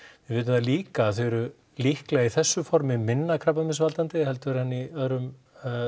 við vitum það líka að þau eru líklega í þessu formi minna krabbameinsvaldandi heldur en í öðrum